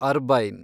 ಅರ್ಬೈನ್